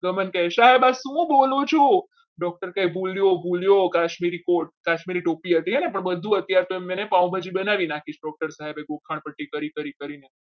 ગમન કહે સાહેબ શું બોલો છો? doctor કહે ભૂલ્યો ભૂલ્યો કાશ્મીરી Court કાશ્મીરી ટોપી હતી પણ બધું અત્યારે મેં પાવભાજી બનાવી નાખી છે ગોખણપટ્ટી કરી કરીને